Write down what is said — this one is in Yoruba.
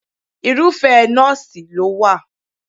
Irúfẹ́ nọ́ọ̀sì ló wà.